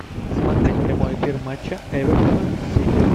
смотреть прямой эфир матча эвертона с сити